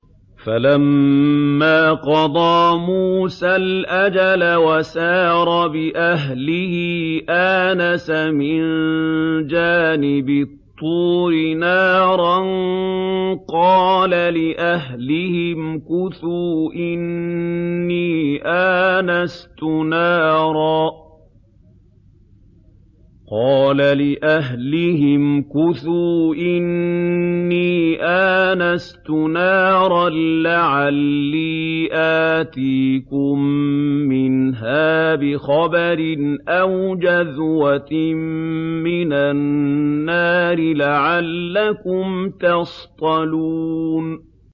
۞ فَلَمَّا قَضَىٰ مُوسَى الْأَجَلَ وَسَارَ بِأَهْلِهِ آنَسَ مِن جَانِبِ الطُّورِ نَارًا قَالَ لِأَهْلِهِ امْكُثُوا إِنِّي آنَسْتُ نَارًا لَّعَلِّي آتِيكُم مِّنْهَا بِخَبَرٍ أَوْ جَذْوَةٍ مِّنَ النَّارِ لَعَلَّكُمْ تَصْطَلُونَ